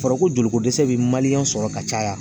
Fɔra ko joliko dɛsɛ be maliyɛn sɔrɔ ka caya